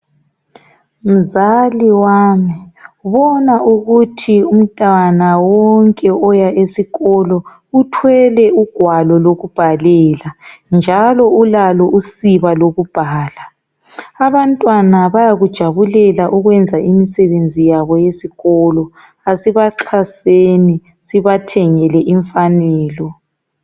Mzali wami bona ukuthi umntwana wonke uya esikolo uthwele ugwalo lokubhalela njalo ulalo usiba lokubhala. Abantwana bayakujabulela ukwenza imisebenzi yabo yesikolo kasibaxhaseni sibathengele imfanelo.